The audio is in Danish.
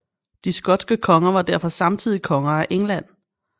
De skotske konger var derfor samtidig konger af England